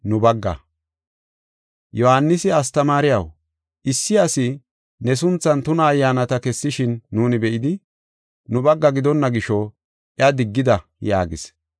Yohaanisi, “Astamaariyaw, issi asi ne sunthan tuna Ayyaanata kessishin nuuni be7idi, nu bagga gidonna gisho, iya diggida” yaagis.